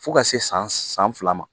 Fo ka se san san fila ma